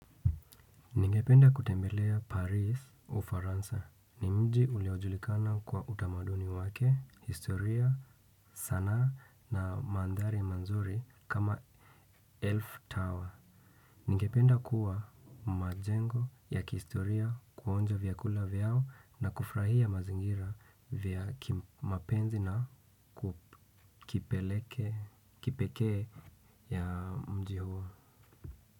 Ningependa kutembelea Paris Ufaransa. Ni mji uliojulikana kwa utamaduni wake, historia, sanaa na mandhari mazuri kama Elf Tower. Ningependa kuwa majengo ya kihistoria, kuonja vyakula vyao na kufurahia mazingira vya kimapenzi na kipekee ya mji huo.